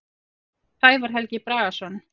Sævar Helgi Bragason.